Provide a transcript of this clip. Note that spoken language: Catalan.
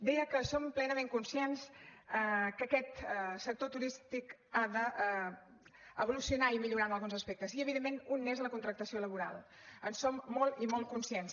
deia que som plenament conscients que aquest sector turístic ha d’evolucionar i millorar en alguns aspectes i evidentment un n’és la contractació laboral en som molt i molt conscients